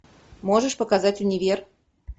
можешь показать универ